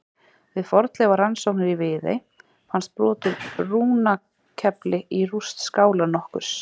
Við fornleifarannsóknir í Viðey fannst brot úr rúnakefli í rúst skála nokkurs.